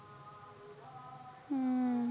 हम्म